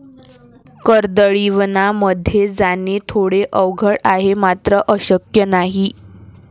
कर्दळीवनामध्ये जाणे थोडे अवघड आहे, मात्र अशक्य नाही.